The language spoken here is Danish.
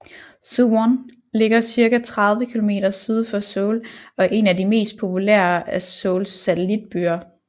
Suwon ligger cirka 30 kilometer syd for Seoul og er en af de mest populærer af Seouls satelitbyer